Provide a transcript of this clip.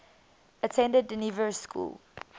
attended dynevor school